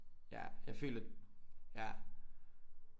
Ja jeg føler ja